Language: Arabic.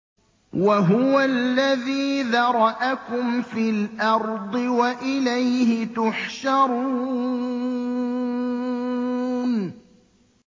وَهُوَ الَّذِي ذَرَأَكُمْ فِي الْأَرْضِ وَإِلَيْهِ تُحْشَرُونَ